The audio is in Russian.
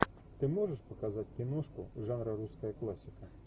ты можешь показать киношку жанра русская классика